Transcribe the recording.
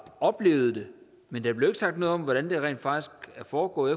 oplevet det men der blev ikke sagt noget om hvordan det rent faktisk er foregået